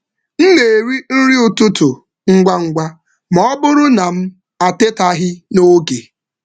M na-eri nri ụtụtụ ngwa ngwa ma ọ bụrụ na m atetaghị n’oge.